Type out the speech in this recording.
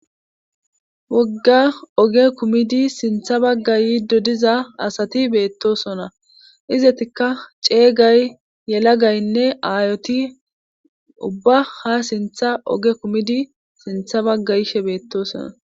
wogga oge kumidi sintha baggayi yido diza asati beettosona izetikka ceeygay yelagaynne aayoti ubba ha sintha oge kumidi sintha baggayshe beettosona